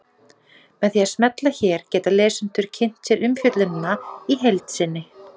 Með því að smella hér geta lesendur kynnt sér umfjöllunina í heild sinni.